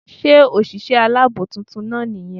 Sé òsìsé alábò titun náà ní yan